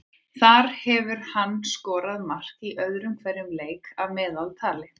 Þar hefur hann skorað mark í öðrum hverjum leik að meðaltali.